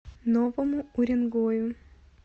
новому уренгою